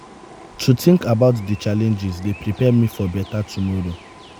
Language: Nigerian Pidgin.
to think about di challenges dey prepare me for beta tomoro.